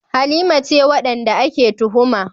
Halima ce wadanda ake tuhuma.